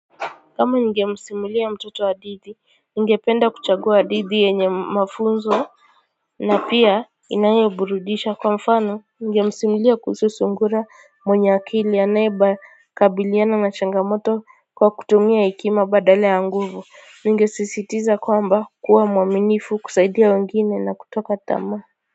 Kama ningemsimulia mtoto hadithi ningependa kuchagua hadithi yenye mafunzo na pia inayo burudisha kwa mfano ningemsimulia kuhusu sungura mwenye akili anaye ba kabiliana na changamoto kwa kutumia hekima badala ya nguvu ninge sisitiza kwamba kuwa mwaminifu kusaidia wengine na kutoka tama.